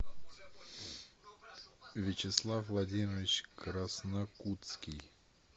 вячеслав владимирович краснокутский